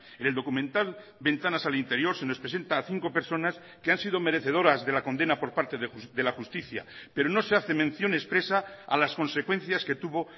en el documental ventanas al interior se nos presenta a cinco personas que han sido merecedoras de la condena por parte de la justicia pero no se hace mención expresa a las consecuencias que tuvo